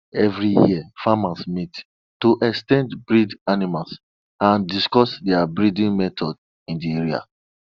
every year farmers meet to exchange bred animals and discuss their breeding methods in the area